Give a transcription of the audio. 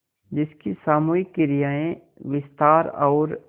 जिसकी सामूहिक क्रियाएँ विस्तार और